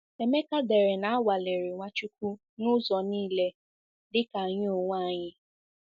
Emeka dere na a nwalere Nwachukwu n'ụzọ niile dịka anyị onwe anyị.